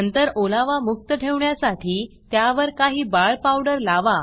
नंतर ओलावा मुक्त ठेवण्यासाठी त्यावर काही बाळ पावडर लावा